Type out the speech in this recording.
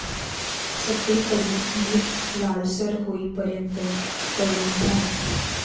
सगळीकडून नीट लालसर होईपर्यंत तळून घ्या.